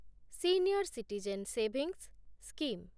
senior citizen savings scheme